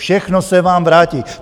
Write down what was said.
Všechno se vám vrátí.